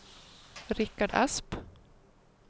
Rikard Asp